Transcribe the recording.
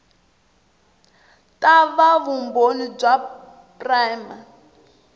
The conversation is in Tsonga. ta va vumbhoni bya prima